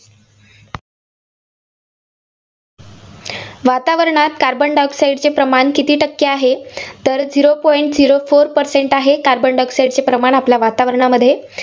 वातावरणात carbon dioxide चे प्रमाण किती टक्के आहे? तर zero point zero four percent आहे, carbon dioxide चे प्रमाण आपल्या वातावरणामध्ये.